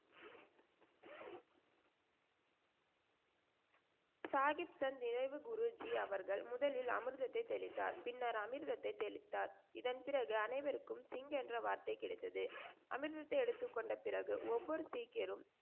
சாஹிப்சன் நிறைவு குருஜி அவர்கள் முதலில் அமிர்தத்தை தெளித்தார். பின்னர் அமிர்தத்தை தெளித்தார். இதன் பிறகு அனைவருக்கும் சிங் என்ற வார்த்தை கிடைத்தது. அமிர்தத்தை எடுத்துக் கொண்டபிறகு ஒவ்வொரு சீக்கியரும்,